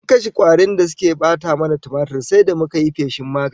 Domin kashe kwarin da suke bata mana tumatir, sai da muka yi feshin magani